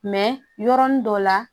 yɔrɔnin dɔ la